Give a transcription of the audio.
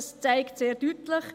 Dies zeigt sehr deutlich: